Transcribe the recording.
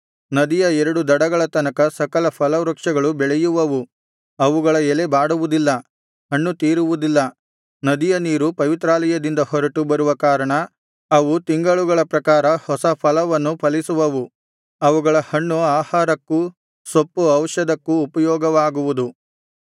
ನದಿಯ ಎರಡು ದಡಗಳ ತನಕ ಸಕಲ ಫಲವೃಕ್ಷಗಳು ಬೆಳೆಯುವವು ಅವುಗಳ ಎಲೆ ಬಾಡುವುದಿಲ್ಲ ಹಣ್ಣು ತೀರುವುದಿಲ್ಲ ನದಿಯ ನೀರು ಪವಿತ್ರಾಲಯದಿಂದ ಹೊರಟು ಬರುವ ಕಾರಣ ಅವು ತಿಂಗಳುಗಳ ಪ್ರಕಾರ ಹೊಸ ಫಲವನ್ನು ಫಲಿಸುವವು ಅವುಗಳ ಹಣ್ಣು ಆಹಾರಕ್ಕೂ ಸೊಪ್ಪು ಔಷಧಕ್ಕೂ ಉಪಯೋಗವಾಗುವುದು